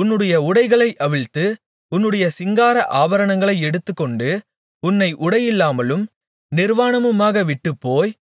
உன்னுடைய உடைகளை அவிழ்த்து உன்னுடைய சிங்கார ஆபரணங்களை எடுத்துக்கொண்டு உன்னை உடையில்லாமலும் நிர்வாணமுமாக விட்டுப்போய்